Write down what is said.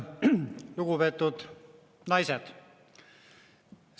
Lugupeetud naised!